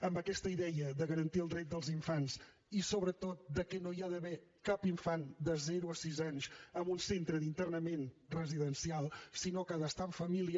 amb aquesta idea de garantir el dret dels infants i sobretot que no hi ha d’haver cap infant de zero a sis anys en un centre d’internament residencial sinó que han d’estar en família